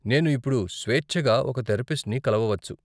నేను ఇప్పుడు స్వేచ్ఛగా ఒక థెరపిస్ట్ని కలవవచ్చు